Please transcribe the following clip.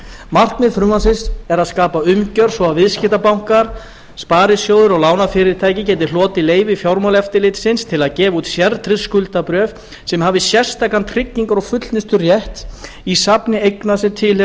markmið frumvarpsins er að skapa umgjörð svo að viðskiptabankar sparisjóðir og lánafyrirtæki geti hlotið leyfi fjármálaeftirlitsins til að gefa út sértryggð skuldabréf sem hafi sérstakan tryggingar og fullnusturétt í safni eigna sem tilheyra